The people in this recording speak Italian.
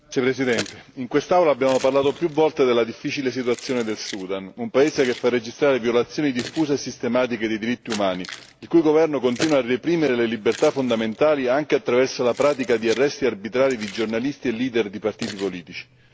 Signor Presidente, onorevoli colleghi, in quest'Aula abbiamo parlato più volte della difficile situazione del Sudan, un paese che fa registrare violazioni diffuse e sistematiche dei diritti umani, il cui governo continua a reprimere le libertà fondamentali, anche attraverso la pratica di arresti arbitrari di giornalisti e di partiti politici.